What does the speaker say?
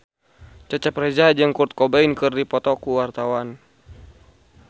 Cecep Reza jeung Kurt Cobain keur dipoto ku wartawan